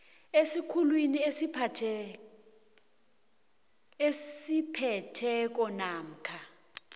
esikhulwini esiphetheko namkha